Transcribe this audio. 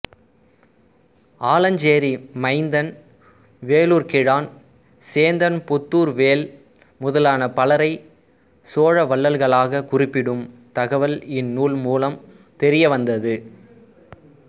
ஆலஞ்சேரி மயிந்தன் வேளூர் கிழான் சேந்தன் புத்தூர்வேள் முதலான பலரைச் சோழ வள்ளல்களாகக் குறிப்பிடும் தகவல் இந்நூல் மூலம் தெரியவந்தது